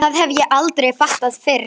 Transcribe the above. Það hef ég aldrei fattað fyrr.